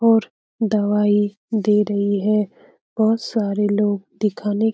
और दवाई दे रही है बोहोत सारे लोग दिखाने --